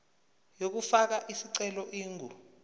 yokufaka isicelo ingu